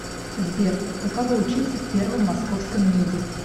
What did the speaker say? сбер каково учиться в первом московском меде